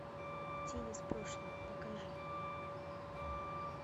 тень из прошлого покажи